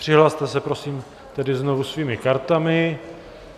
Přihlaste se, prosím, tedy znovu svými kartami.